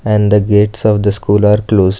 and the gates of the school are closed.